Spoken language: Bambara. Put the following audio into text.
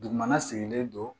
Dugumana sigilen don